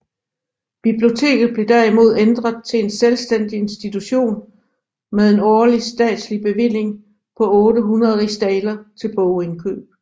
Biblioteket blev derimod ændret til en selvstænding institution med en årlig statslig bevilling på 800 rigsdaler til bogindkøb